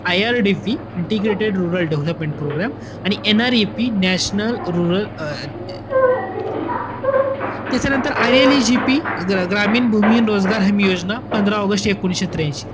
IRDP integrated rural development programme आणि NREP national rural अं त्याच्यानंतर ILAGP ग्रामीण भूमीहीन आणि रोजगार योजना पंधरा ऑगस्ट एकोणवीसशे त्र्यांशी.